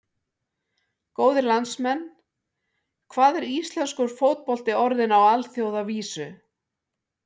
Góðir landsmenn, hvað er íslenskur fótbolti orðinn á alþjóðavísu?